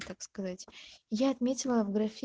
как сказать я отметила в графе